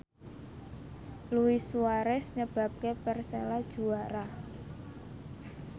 Luis Suarez nyebabke Persela juara